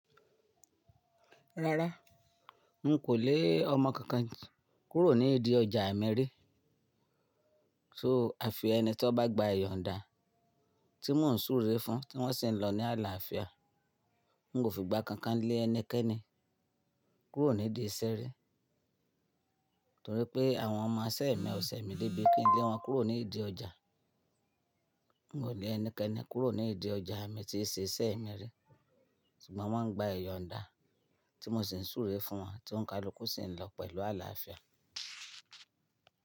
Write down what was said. Rárá, n kò lé ọmọ kankan kúrò nídi ọjà mi ri So àfi ẹni tí ó bá gba ìyọ̀nda tí mò ń súre fún, tí wọ́n sì ń lọ ní àlàáfíà. N kò fi igba kankan lé ẹnikẹ́ni kúrò nídi iṣẹ́ rí. Nítorí pé àwọn ọmọ iṣẹ́ mi ò ṣẹ̀ mí débi kí n lé wọn kúrò nídi ọjà. N kò lé ẹnikẹ́ni kúrò nídi ọjà, mi ti ṣe iṣẹ́ mi rí. Ṣùgbọ́n wọ́n ń gba ìyọ̀nda tí mò sì ń súre fún wọn, tí ouń kaluku sì ń lọ pẹ̀lú àlàáfíà.